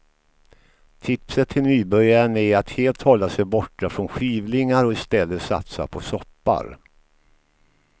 Tipset till nybörjaren är att helt hålla sig borta från skivlingar och istället satsa på soppar.